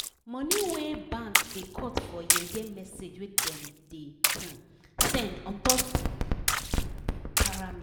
money wey bank da cut for yeye message wey dem da um send untop gbese wey i collect da para me